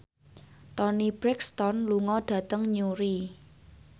Toni Brexton lunga dhateng Newry